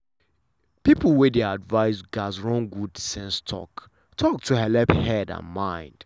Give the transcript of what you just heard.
people wey dey advice gats run good sense talk-talk to helep head and mind.